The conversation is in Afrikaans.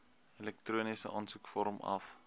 elektroniese aansoekvorm af